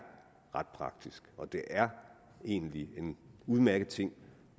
ret praktisk og det er egentlig en udmærket ting